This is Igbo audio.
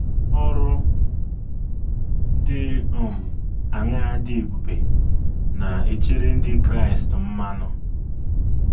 Ọrụ dị um aṅaa dị ebube na - echere ndị Kraịst mmanụ?